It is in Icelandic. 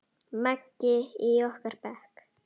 Maggi í okkar bekk?